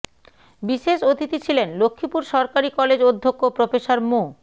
বিশেষ অতিথি ছিলেন লক্ষ্মীপুর সরকারি কলেজ অধ্যক্ষ প্রফেসর মো